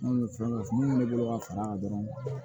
Minnu bɛ fɛn minnu bolo ka fara a kan dɔrɔn